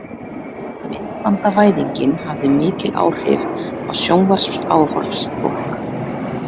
Myndbandavæðingin hafði mikil áhrif á sjónvarpsáhorf fólks.